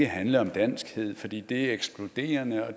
handle om danskhed fordi det er ekskluderende og